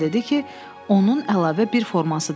Oğlan dedi ki, onun əlavə bir forması da var.